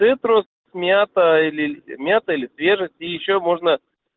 цитрус мята или мята или свежести и ещё можно